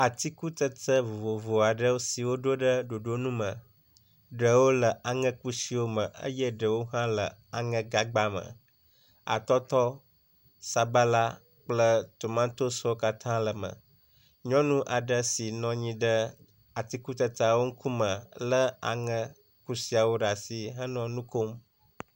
Atikutsetse vovovo aɖewo siwo ɖo ɖe ɖoɖonu me. Ɖewo le aŋekusiwo me eye ɖewo hã le aŋegagba me. Atɔtɔ, sabala kple tomatosiwo katã le eme. Nyɔnu aɖe si nɔ anyi ɖe atikutsetsawo ŋkume le aŋekusiawo ɖe asi henɔ nu kom.